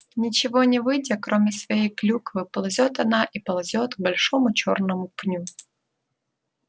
ничего не видя кроме своей клюквы ползёт она и ползёт к большому чёрному пню